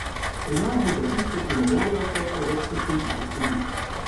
Pri nas bo za tiste, ki ne morejo, teklo več kot tri tisoč ljudi.